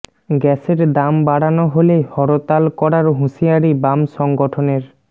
গ্যাসের দাম বাড়ানো হলে হরতাল করার হুঁশিয়ারি বাম সংগঠনের